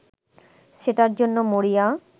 সেটার জন্য মরিয়া